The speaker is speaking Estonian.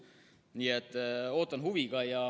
Nii et ootan huviga.